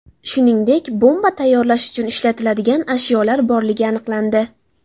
Shuningdek, bomba tayyorlash uchun ishlatiladigan ashyolar borligi aniqlandi.